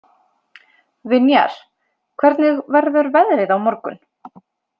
Vinjar, hvernig verður veðrið á morgun?